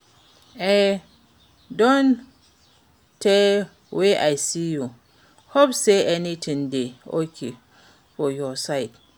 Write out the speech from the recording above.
E don tey wey I see you, hope say everything dey okay for your side?